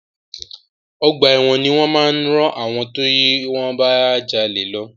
Ọgbà ẹ̀wọ̀n ni wọ́n máa rán àwọn tí wọ́n bá jalè lọ.